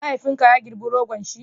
mahaifin ka ya girba rogon shi?